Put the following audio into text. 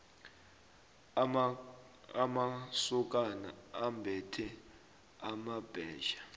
amasokana ambethe amabhetjha